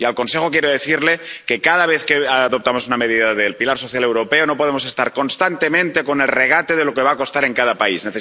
Y al Consejo quiero decirle que cada vez que adoptamos una medida del pilar social europeo no podemos estar constantemente con el regate de lo que va a costar en cada país.